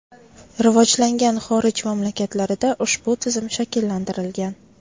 Rivojlangan xorij mamlakatlarida ushbu tizim shakllantirilgan.